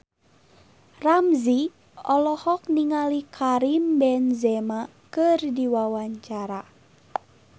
Ramzy olohok ningali Karim Benzema keur diwawancara